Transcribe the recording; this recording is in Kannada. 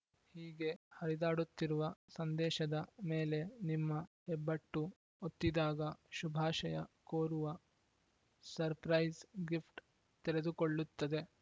ಹೀಗೆ ಹರಿದಾಡುತ್ತಿರುವ ಸಂದೇಶದ ಮೇಲೆ ನಿಮ್ಮ ಹೆಬ್ಬೆಟ್ಟು ಒತ್ತಿದ್ದಾಗ ಶುಭಾಷಯ ಕೋರುವ ಸುರ್ಪ್ರೈಸ್ ಗಿಫ್ಟ್‌ ತೆರೆದುಕೊಳ್ಳುತ್ತದೆ